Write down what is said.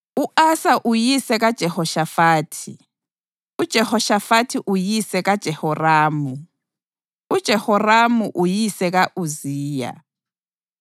u-Asa uyise kaJehoshafathi, uJehoshafathi uyise kaJehoramu, uJehoramu uyise ka-Uziya,